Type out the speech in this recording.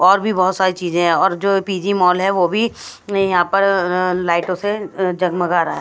और भी बहोत सारी चीजे और जो पी_जी मॉल है वो भी यहां पर अं लाइटों से जगमगा रहा--